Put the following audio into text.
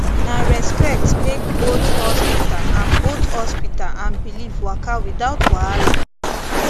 na respect make both hospital and both hospital and belief waka without wahala